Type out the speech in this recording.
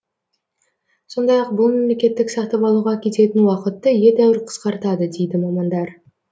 сондай ақ бұл мемлекеттік сатып алуға кететін уақытты едәуір қысқартады дейді мамандар